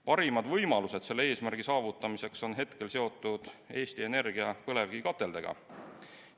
Parimad võimalused selle eesmärgi saavutamiseks on hetkel seotud Eesti Energia põlevkivikateldega.